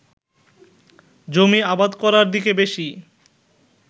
জমি আবাদ করার দিকে বেশি